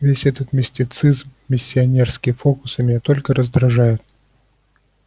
весь этот мистицизм миссионерские фокусы меня только раздражают